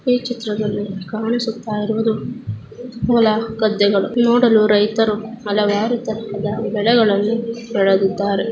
ಈ ಚಿತ್ರದಲ್ಲಿ ಕಾಣಿಸುತಲಿರುವುದು ಹೊಲ ಗದ್ದೆಗಳು ನೋಡಲು ರೈತರು ಹಲವಾರು ಜಾತಿಯ ಬೆಳೆಗಳ್ಳನು ಬೆಳೆದಿದ್ದಾರೆ .